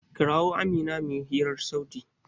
Kira min Amina mu yi hirar sauti!